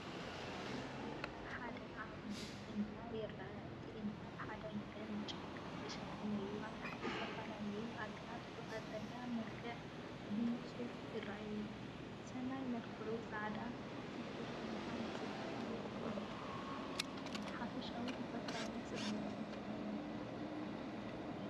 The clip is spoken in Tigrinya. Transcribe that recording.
ኣብዚ ሓደ ዓቢ እምባ ይርአ። እቲ እምባ ብሓደ ወገን ብጫካ ዝተሸፈነን እዩ። ኣብ ታሕቲ ዝተፈላለዩ ኣግራብ ብቀጠልያ መልክዕ ብንጹር ይረኣዩ። ሰማይ መልክዑ ጻዕዳን ሰፊሕን ብምዃኑ ንጽባቐ ናይቲ እምባ ይውስኸሉ። ሓፈሻዊ ተፈጥሮኣዊ ጽባቐ ዘለዎ እዩ።